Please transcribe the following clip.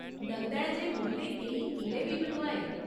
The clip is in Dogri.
लगदा ऐ जे मुगलें केईं किले बी बनोआए।